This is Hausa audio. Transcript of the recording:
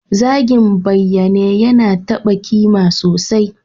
Zagin bayyane yana taba kimar sosai.